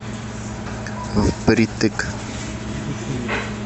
впритык